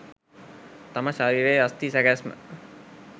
තම ශරීරයේ අස්ථි සැකැස්ම